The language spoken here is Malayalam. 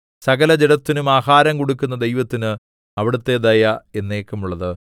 സകലജഡത്തിനും ആഹാരം കൊടുക്കുന്ന ദൈവത്തിന് അവിടുത്തെ ദയ എന്നേക്കുമുള്ളത്